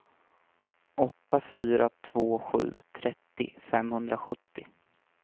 åtta fyra två sju trettio femhundrasjuttio